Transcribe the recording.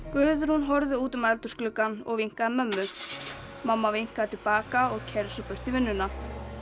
Guðrún horfði út um eldhús gluggann og vinkaði mömmu mamma vinkaði til baka og keyrði svo burt í vinnuna